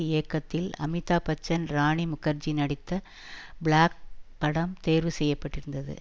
இயக்கத்தில் அமிதாப்பச்சன் ராணிமுகர்ஜி நடித்த பிளாக் படம் தேர்வு செய்ய பட்டிருந்தது